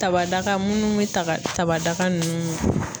Tabada munnu be taga tabada nunnu mi